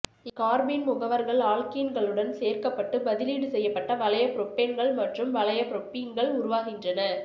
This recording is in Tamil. இக்கார்பீன் முகவர்கள் ஆல்க்கீன்களுடன் சேர்க்கப்பட்டு பதிலீடு செய்யப்பட்ட வளையபுரோப்பேன்கள் மற்றும் வளையபுரோப்பீன்கள் உருவாகின்றன